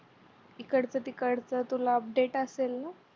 इकडच तिकडच तुला update असेल ना